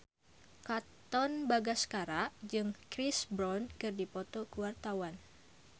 Katon Bagaskara jeung Chris Brown keur dipoto ku wartawan